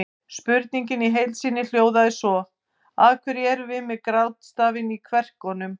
Spurningin í heild sinni hljóðaði svo: Af hverju erum við með grátstafinn í kverkunum?